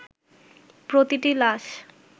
প্রতিটি লাশ